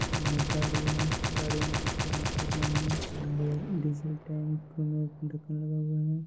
एक गाड़ी है गाड़ी में कुछ पेंट कर रहे हैं एंड डीजल टैंक में ढक्कन लगा हुआ है।